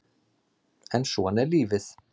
En svona er lífið